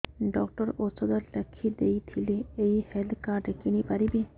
doctor ଔଷଧ ଲେଖିଦେଇଥିଲେ ଏଇ ହେଲ୍ଥ କାର୍ଡ ରେ କିଣିପାରିବି